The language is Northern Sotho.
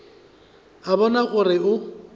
a go bona gore o